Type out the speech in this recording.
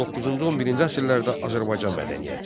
Doqquzuncu-on birinci əsrlərdə Azərbaycan mədəniyyəti.